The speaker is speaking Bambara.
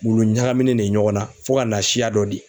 Wulu ɲagaminen ne ye ɲɔgɔn na fo ka na siya dɔ di.